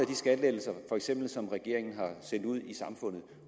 de skattelettelser som regeringen har sendt ud i samfundet